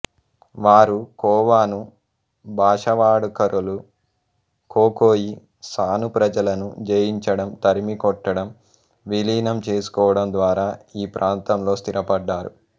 వారు ఖోవాను భాషావాడుకరులు ఖోఖోయి సాను ప్రజలను జయించడం తరిమికొట్టడం విలీనంచేసుకోవడం ద్వారా ఈ ప్రాంతంలో స్థిరపడ్డారు